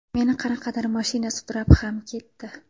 Meni qanaqadir mashina sudrab ham ketdi.